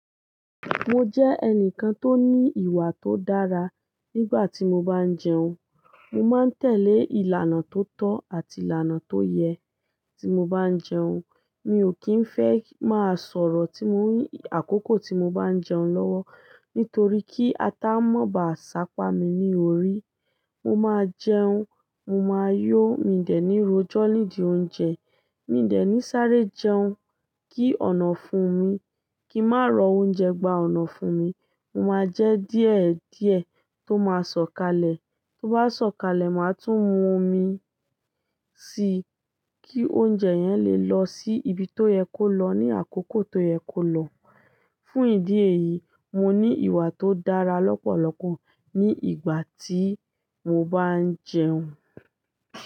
Mo jẹ́ ẹnìkan tó ní ìwà tó dára nígbà tí mo bá ń jẹun. Mo máa ń tẹ̀lé ìlànà tó tọ́ àti ìlànà tó yẹ tí mo bá ń jẹun. Mi ò kí ń fẹ́ má sọ̀rọ̀ tí mo ní àkókò tí mo bá ń jẹun lọ́wọ́. Nítorí kí ata mó bá ṣapa mi ní orí. Mo máa jẹun, mo máa yó, mi de ní ro ọjọ́ nídi oúnjẹ, mi de ní sáré jẹun, kí ọ̀nà fún mi, kí má rọ oúnjẹ gba ọ̀nà fún mi. Mo máa jẹ díẹ̀díẹ̀ tó máa sọ̀kalẹ̀. Tó bá sọ̀kalẹ̀, màá tún mú omi síi kí oúnjẹ yẹn lè lọ sí ibi tó yẹ kó lọ ní àkókò tó yẹ kó lọ. Fún ìdí èyí, mo ní ìwà tó dára lọ́pọ̀lọpọ̀ ní ìgbà tí mo bá ń jẹun.